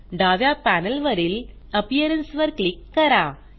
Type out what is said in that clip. डाव्या पॅनेलवरील अपियरन्स वर क्लिक करा